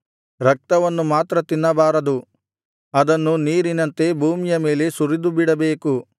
ರಕ್ತವನ್ನು ಮಾತ್ರ ತಿನ್ನಬಾರದು ಅದನ್ನು ನೀರಿನಂತೆ ಭೂಮಿಯ ಮೇಲೆ ಸುರಿದುಬಿಡಬೇಕು